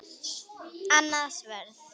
Annað sverð.